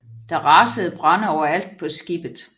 Der rasede brande overalt på skibet